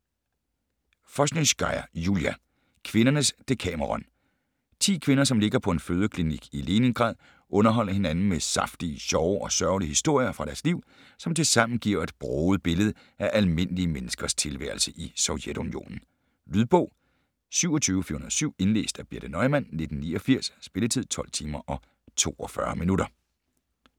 Voznesenskaya, Julia: Kvindernes Decameron Ti kvinder, som ligger på en fødeklinik i Leningrad, underholder hinanden med saftige, sjove og sørgelige historier fra deres liv, som tilsammen giver et broget billede af almindelige menneskers tilværelse i Sovjetunionen. Lydbog 27407 Indlæst af Birthe Neumann, 1989. Spilletid: 12 timer, 42 minutter.